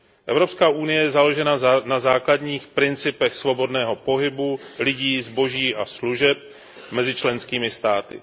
EU je založena na základních principech svobodného pohybu lidí, zboží a služeb mezi členskými státy.